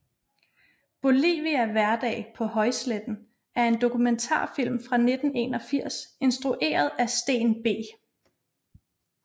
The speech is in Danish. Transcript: Bolivia hverdag på højsletten er en dokumentarfilm fra 1981 instrueret af Steen B